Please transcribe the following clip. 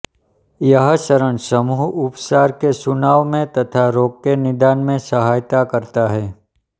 यह चरण समूह उपचार के चुनाव में तथा रोग के निदान में सहायता करता है